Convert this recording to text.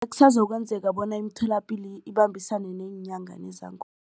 Kusazokwenzeka bona imitholapilo ibambisane neenyanga nezangoma.